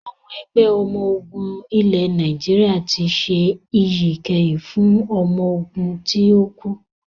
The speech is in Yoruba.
Àwọn Ẹgbẹ́ ọmọ ogún ilẹ̀ Nàìjíríà tí ṣe iyì ìkẹyìn fún ọmọ ogún ti o kú